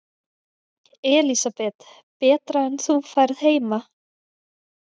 Elísabet: Betra en þú færð heima?